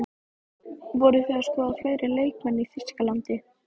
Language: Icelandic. Voruð þið að skoða fleiri leikmenn í Þýskalandi?